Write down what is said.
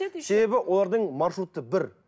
себебі олардың маршруты бір